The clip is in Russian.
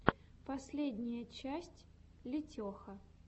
последняя часть летеха